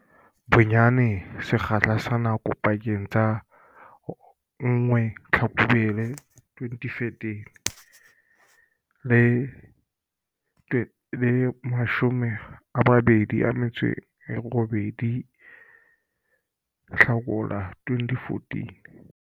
Bonyane sekgahla sa nako pakeng tsa 1 Tlhakubele 2013 le 28 Hlakola 2014.